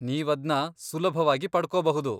ನೀವದ್ನ ಸುಲಭವಾಗಿ ಪಡ್ಕೊಬಹುದು.